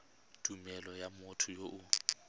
tumelelo ya motho yo o